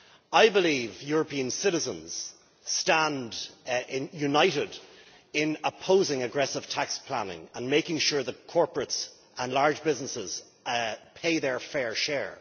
I believe European citizens stand united in opposing aggressive tax planning and on making sure that corporates and large businesses pay their fair share.